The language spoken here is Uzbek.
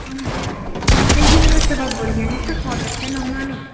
Voqeaga nima sabab bo‘lgani esa hozircha noma’lum.